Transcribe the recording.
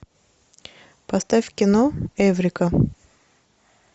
поставь кино эврика